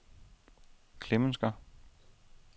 Klemensker